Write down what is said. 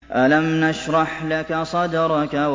أَلَمْ نَشْرَحْ لَكَ صَدْرَكَ